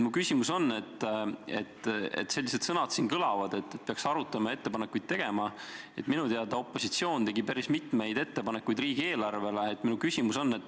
Sellised sõnad siin kõlavad, et peaks arutama ja ettepanekuid tegema, aga minu teada tegi opositsioon riigieelarve kohta päris mitmeid ettepanekuid.